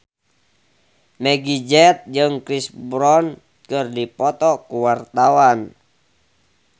Meggie Z jeung Chris Brown keur dipoto ku wartawan